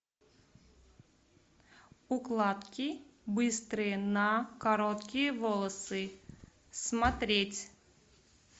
укладки быстрые на короткие волосы смотреть